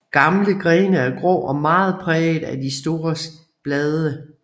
Gamle grene er grå og meget præget af de store bladar